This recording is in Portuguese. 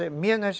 Em